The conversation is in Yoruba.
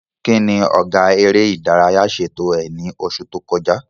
Kí ni Ọ̀gá eré ìdárayá ṣètò ẹ̀ ní oṣù tó kọjá?